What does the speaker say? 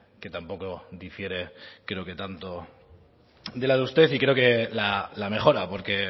que tampoco difiere creo que tanto de la de usted y creo que la mejora porque